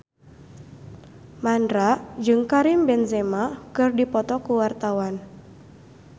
Mandra jeung Karim Benzema keur dipoto ku wartawan